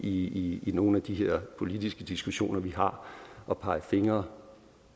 i nogle af de her politiske diskussioner vi har at pege fingre